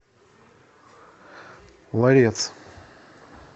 ларец